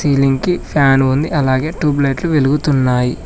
Ceiling కి fan ఉంది అలాగే ట్యూబ్ లైట్లు వెలుగుతున్నాయి.